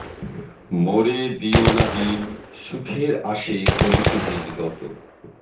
মোরে দিয়ো না দিন সুখের আশে করিতে দিন গত